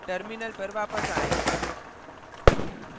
terminal पर वापस आएँ